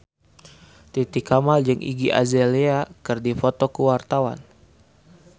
Titi Kamal jeung Iggy Azalea keur dipoto ku wartawan